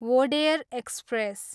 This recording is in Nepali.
वोडेयर एक्सप्रेस